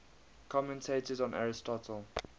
commentators on aristotle